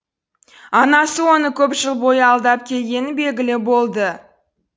анасы оны көп жыл бойы алдап келгені белгілі болды